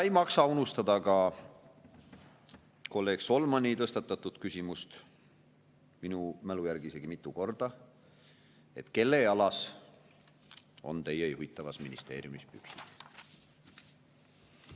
Ei maksa unustada ka kolleeg Solmani tõstatatud küsimust, mis minu mälu järgi isegi mitu korda: kelle jalas on teie juhitavas ministeeriumis püksid?